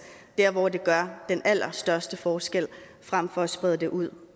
der hvor det gør den allerstørste forskel frem for at sprede det ud